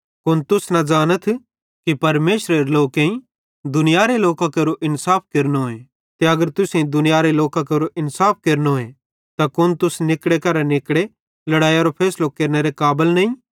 कुन तुस न ज़ानथ कि परमेशरेरे लोकेईं दुनियारे लोकां केरो इन्साफ केरेनोए ते अगर तुसेईं दुनियारे लोकां केरो इन्साफ केरनोए ते कुन तुस निकड़े करां निकड़े लड़ैइयरो फैसलो केरनेरी काबल नईं